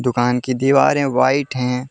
दुकान की दीवारे व्हाइट हैं।